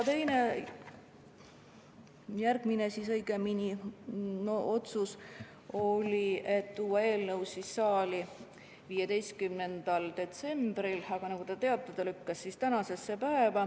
Järgmisena otsustati tuua eelnõu saali 15. detsembril, aga nagu te teate, lükkus see tänasesse päeva.